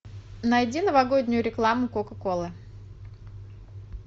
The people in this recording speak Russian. найди новогоднюю рекламу кока колы